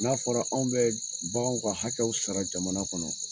N'a fɔra anw bɛ baganw ka hakɛw sara jamana kɔnɔ